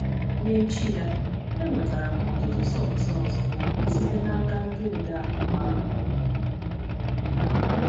N’echi ya, enwetara m ọtụtụ sọks ọzọ site n’aka ndị odeakwụkwọ ahụ.